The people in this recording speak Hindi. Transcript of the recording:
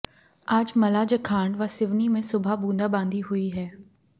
आज मलाजख्ंाड व सिवनी में सुबह बूंदाबंादी हुई है